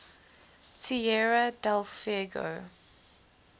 tierra del fuego